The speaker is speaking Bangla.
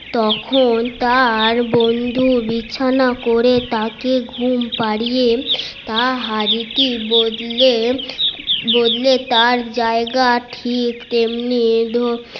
তখন তার বন্ধু বিছানা করে তাকে ঘুম পারিয়ে তার হাড়ি টি বদলে তার জায়গায়